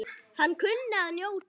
Hann kunni að njóta.